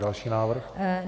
Další návrh.